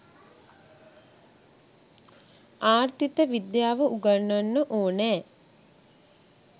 ආර්ථිත විද්‍යාව උගන්වන්න ඕනෑ.